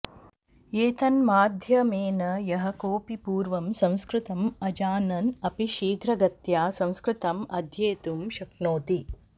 एतन्माध्यमेन यः कोऽपि पूर्वं संस्कृतम् अजानन् अपि शीघ्रगत्या संस्कृतम् अध्येतुं शक्नोति